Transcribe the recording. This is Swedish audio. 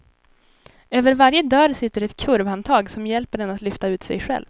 Över varje dörr sitter ett kurvhandtag, som hjälper en att lyfta ut sig själv.